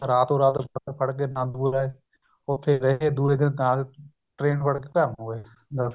ਰਾਤੋ ਰਾਤ ਬੱਸ ਫੜ ਕੇ ਆਨੰਦਪੁਰ ਆਏ ਉੱਥੇ ਰਹੇ ਦੂਏ ਦਿਨ ਨਾਲ ਹੀ train ਫੜ ਕੇ ਘਰ ਨੂੰ ਆਏ ਬੱਸ